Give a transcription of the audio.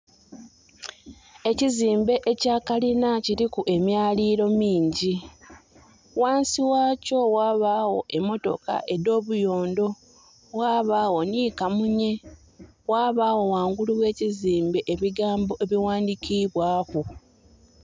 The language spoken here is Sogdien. Ekizimbe ekya kalina kiriku emyaliro mingi. Wansi wakyo wabawo emotoka edobuyondo, wabawo ni kamunye wabawo wangulu wekizimbe ebigambo ebiwandikibwaku